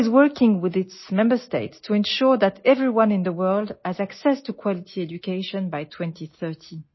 UNESCO is working with its member states to ensure that everyone in the world has access to quality education by 2030